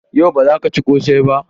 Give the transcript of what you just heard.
Yau, ba zaka ci ƙosai ba?